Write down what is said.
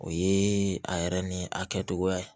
O ye a yɛrɛ ni a kɛcogoya ye